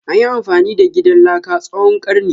Anyi amfani da gidan laka tsawon karni.